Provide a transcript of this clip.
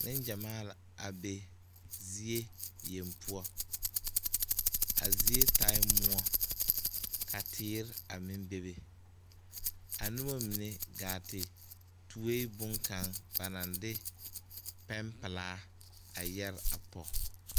Neŋ gyamaa la a be zie yeŋe poɔ a zie taaɛ moɔ ka teere a meŋ bebe a nobɔ mine gaa te tue boŋkaŋa ba naŋ de pɛmpelaa a yɛre a pɔge.